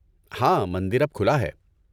ہاں، مندر اب کھلا ہے۔